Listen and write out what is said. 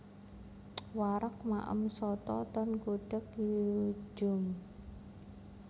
Wareg maem soto ten Gudeg Yu Djum